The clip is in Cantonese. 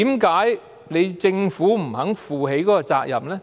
為何政府不肯負起這個責任呢？